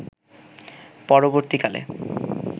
পরবর্তী কালে